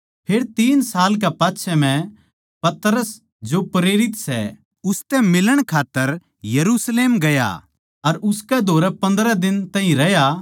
फेर तीन साल के पाच्छै मै पतरस जो प्रेरित सै उसतै मिलण खात्तर यरुशलेम ग्या अर उसकै धोरै पन्द्रह दिन तैई रह्या